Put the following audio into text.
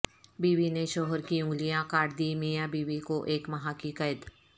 بیوی نے شوہر کی انگلیاں کاٹ دی میاں بیوی کو ایک ماہ کی قید